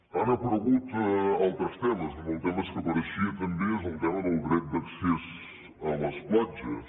han aparegut altres temes un dels temes que apareixia també és el tema del dret d’accés a les platges